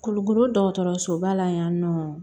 Kulukoro dɔgɔtɔrɔsoba la yan nɔ